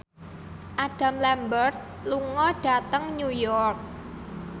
Adam Lambert lunga dhateng New York